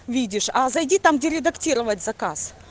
видишь а зайди там где редактировать заказ